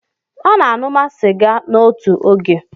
A na-aṅụma sịga n'otu oge.